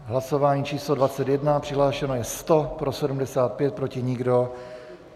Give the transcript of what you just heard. Hlasování číslo 21, přihlášeno je 100, pro 75, proti nikdo.